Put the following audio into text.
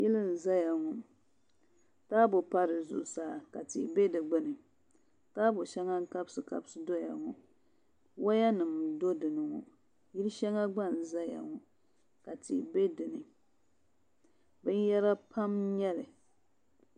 Yili n ʒɛya ŋɔ taabo pa di zuɣusaa ka tihi bɛ di gbuni taabo shɛŋa n kabisi kabisi doya ŋɔ woya nim do dinni yili shɛŋa gba n doya ŋɔ ka tihi bɛ dinni binyɛra pam n nyɛli